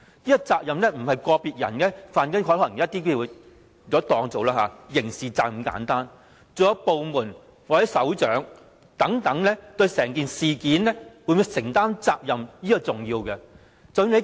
這責任不是個別人士犯了例如刑事責任那麼簡單，還有部門或首長等會否對整件事情承擔責任，這是重要的。